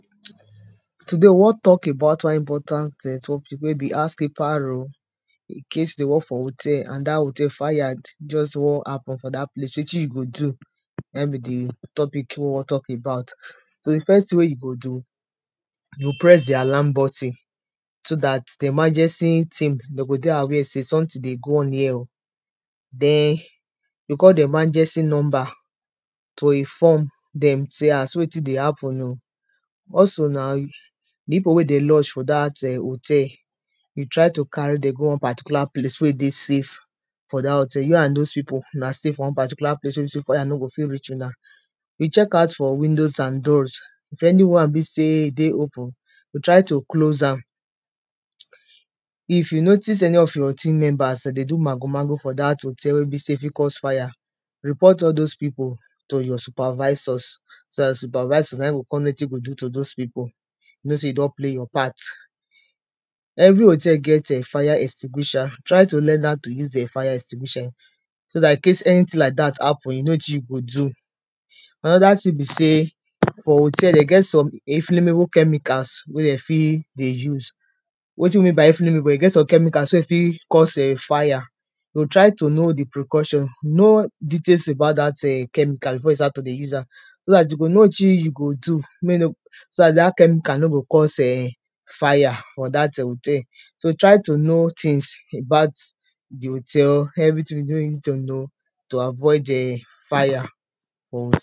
Today, we wan tok about one important something wey be house keeper role, incase you dey work for hotel, and dat hotel, fire just wan happen for dat place, wetin you go do, na in be di topic wey we wan tok about. So, di first thing wey you go do, you go press di alarm botton, so dat di emergency team de go dey aware sey, something dey go on here o. den, yoh call di emergency number to inform dem sey ah, see wetin dey happen o. also na pipo wey de lodge um for dat hotel, yoh try to carry dem go one particular place wey dey safe for dat hotel, you and dose pipo una stay for one particular place wey be sey, fire no go fi reach una, you chech out for windows and doors, if anyone be sey e dey open yoh try to close am. If you notice any of your team members de dey do mago mago for dat hotel wey be sey e fi cause fire, report all dose pipo to your supervisors, so na supervisor naim go con know wetin to do to dose pipo, know sey you don play your part. Every hotel get um fire extinguisher, try to learn how to use [um]fire extinguisher, so dat incase any thing like dat happen you know wetin you go do. Another thing be sey, for hotel de get some inflammable chemicals wey dey fi dey use. Wetin we mean by inflammable, e get some chemicals wey e fi cause um fire, so try to know di precaution, know details about dat[um]chemical before you start to dey use am, so dat you go know wetin you go do, mey e no so dat, dat chemical no go cause um fire, for dat um hotel. So try to know things about di hotel, everything wey you need to know to avoid um fire.